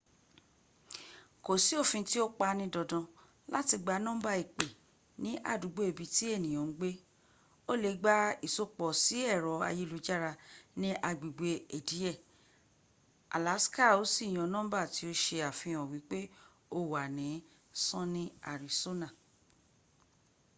ko si ofin ti o pa ni dandan lati gba numba ipe ni adugbo ibi ti eniyan n gbe o le gba isopo si ero ayelujara ni agbegbe ediye alasika o si yan numba ti o se afihan wipe o wa ni sunny arisona